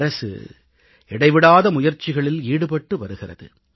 அரசு இடைவிடாத முயற்சிகளில் ஈடுபட்டு வருகிறது